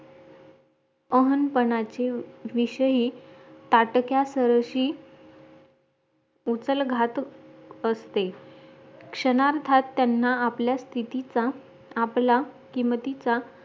अहन पानाची विषयी ताटक्या सहर्षी उठल घाट असते क्षणार्धात त्यांना आपल्या स्तिथीचा आपला किमतीचा